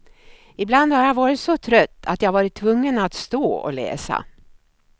Ibland har jag varit så trött att jag varit tvungen att stå och läsa.